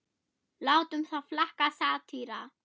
látum það flakka: satýra.